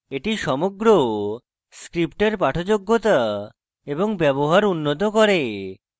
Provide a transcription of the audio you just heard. এটি সমগ্র script পাঠযোগ্যতা এবং ব্যবহার উন্নত করে